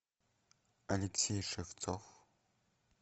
алексей шевцов